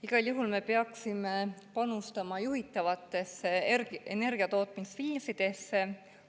Igal juhul me peaksime panustama juhitavatesse energiatootmisviisidesse.